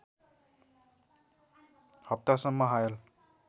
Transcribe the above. हप्तासम्म हायल